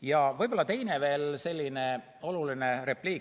Ja võib-olla veel teine oluline repliik.